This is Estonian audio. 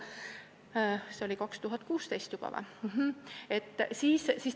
Kas see oli 2016 või?